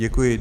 Děkuji.